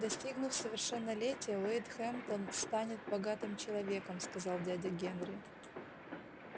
достигнув совершеннолетия уэйд хэмптон станет богатым человеком сказал дядя генри